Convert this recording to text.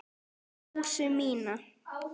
Rósu mína.